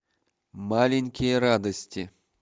маленькие радости